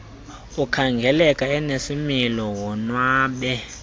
ukhangeleka enesimilo wonwabe